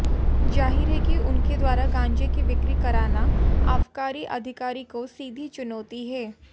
जाहिर है कि उनके द्वारा गांजे की बिक्री कराना आबकारी अधिकारी को सीधी चुनौती है